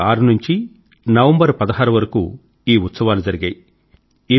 November 6 నుండి November వరకూ ఈ ఉత్సవాలు జరిగాయి